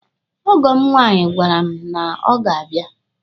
Ọgọ m nwaanyi gwara m na ọ ga-abịa.